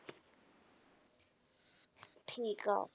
ਠੀਕ ਆ।